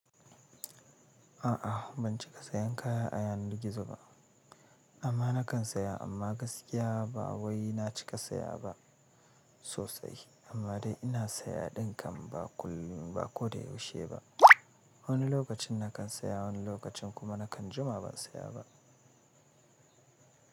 A'a ban cika sayen kaya a yanar gizo ba amma na kan saya amma gaskiya ba wai na cika saya ba sosai amma dai ina saya ɗin kam ba kullum ba ko da yaushe ba. Wani lokacin na kan saya wani lokacin kuma na kan jima ban saya ba.